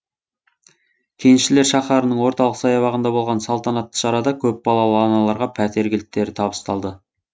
кеншілер шаһарының орталық саябағында болған салтанатты шарада көпбалалы аналарға пәтер кілттері табысталды